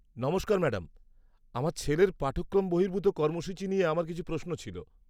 নমস্কার ম্যাডাম, আমার ছেলের পাঠক্রম বহির্ভূত কর্মসূচী নিয়ে আমার কিছু প্রশ্ন ছিল।